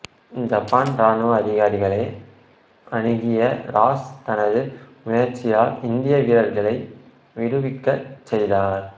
Japan ராணுவ அதிகாரிகளை அணுகிய ராஷ் தனது முயற்சியால் இந்திய வீரர்களை விடுவிக்கச் செய்தார்